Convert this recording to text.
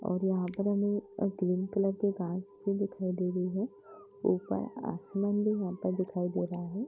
और यहाँ पर हमें ग्रीन कलर की घास भी दिखाई दे रही है ऊपर असमान भी यहाँ पर दिखाई दे रहा है।